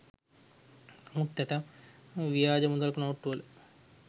නමුත් ඇතැම් ව්‍යාජ මුදල් නෝට්ටුවල